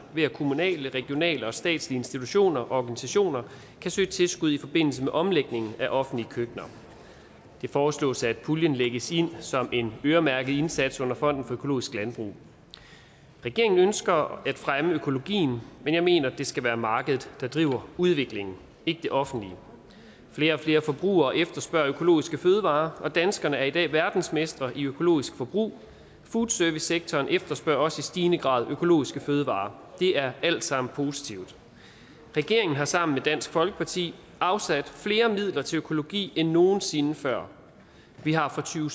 ved at kommunale regionale og statslige institutioner og organisationer kan søge tilskud i forbindelse med omlægning af offentlige køkkener det foreslås at puljen lægges ind som en øremærket indsats under fonden for økologisk landbrug regeringen ønsker at fremme økologien men jeg mener at det skal være markedet der driver udviklingen ikke det offentlige flere og flere forbrugere efterspørger økologiske fødevarer og danskerne er i dag verdensmestre i økologisk forbrug foodservicesektoren efterspørger også i stigende grad økologiske fødevarer det er alt sammen positivt regeringen har sammen med dansk folkeparti afsat flere midler til økologi end nogen sinde før vi har fra to